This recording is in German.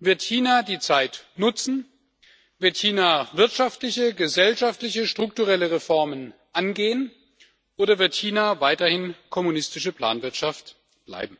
Wird China die Zeit nutzen, wird China wirtschaftliche, gesellschaftliche und strukturelle Reformen angehen, oder wird China weiterhin kommunistische Planwirtschaft bleiben?